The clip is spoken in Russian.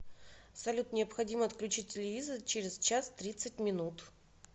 салют необходимо отключить телевизор через час тридцать минут